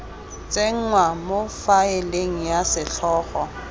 tsenngwa mo faeleng ya setlhogo